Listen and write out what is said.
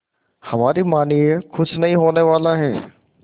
हमारी मानिए कुछ नहीं होने वाला है